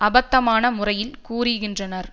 அபத்தமான முறையில் கூறுகின்றனர்